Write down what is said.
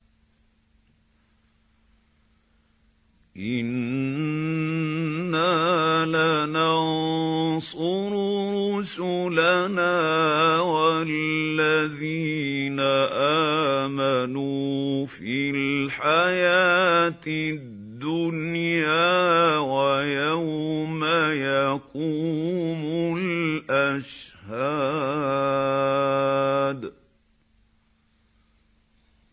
إِنَّا لَنَنصُرُ رُسُلَنَا وَالَّذِينَ آمَنُوا فِي الْحَيَاةِ الدُّنْيَا وَيَوْمَ يَقُومُ الْأَشْهَادُ